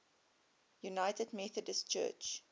united methodist church